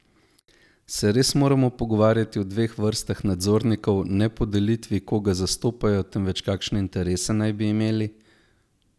Se res moramo pogovarjati o dveh vrstah nadzornikov ne po delitvi, koga zastopajo, temveč kakšne interese naj bi imeli?